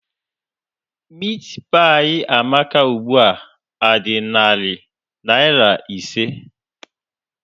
Meatpie Amaka ugbu a dị narị naira ise?